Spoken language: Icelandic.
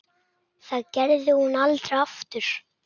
Það gerði hún aldrei aftur.